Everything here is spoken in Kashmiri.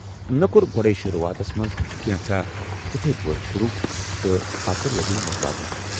مےٚ کوٚر گۄڈے شروعاتس منز كینژھاہ تتھے پٲٹھۍ شروٗع تہٕ پتہٕ لبِم مُتبٲدِل ۔